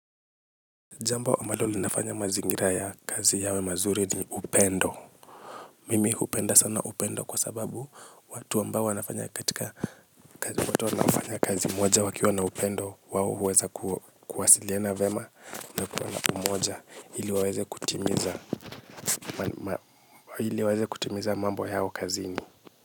Jambo ambalo linafanya mazingira ya kazi yawe mazuri ni upendo. Mimi hupenda sana upendo kwa sababu watu ambao wanafanya katika watu wanafanya kazi moja wakiwa na upendo wao huweza kuwasiliana vyema. Na umoja ili waweze kutimiza kazi zao kazini.